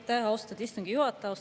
Aitäh, austatud istungi juhataja!